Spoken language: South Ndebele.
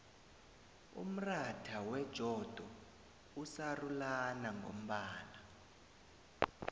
umratha wejodo usarulana ngombala